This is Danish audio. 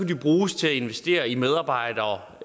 de bruges til at investere i medarbejdere